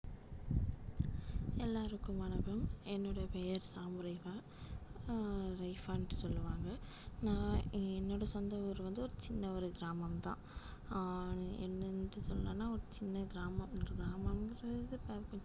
எல்லாருக்கும் வணக்கம் என்னுடைய பெயர் சாமுரேகா அஹ் ரேபா ன்ட்டு சொல்லுவாங்க நான் என்னோட சொந்த ஊர் வந்து ஒரு சின்ன ஒரு கிராமம்தான் அஹ் என்னன்னுட்டு சொல்லணும்ன்னா ஒரு சின்ன கிராமம் கிராமம்ன்றது பா~